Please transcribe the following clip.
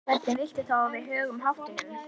Hvernig viltu þá að við högum háttunum?